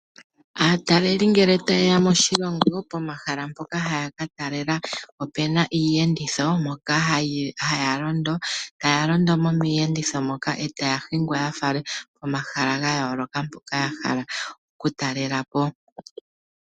Aataleli ngele taye ya moshilongo pomahala ngoka ha ya katalela opena Iiyenditho moka haya londo. Taya londo miiyenditho moka e ta ya hingwa ya falwe komahala gayooloka mpoka yahala oku talela po.